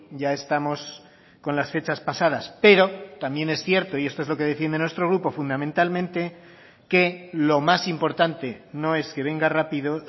ya estamos con las fechas pasadas pero también es cierto y esto es lo que defiende nuestro grupo fundamentalmente que lo más importante no es que venga rápido